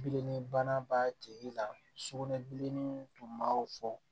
Bilennibana b'a tigi la sugunɛbilenni tun b'aw fɔ